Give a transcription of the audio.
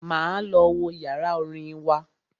Máa lọ wo yàrá orin wa.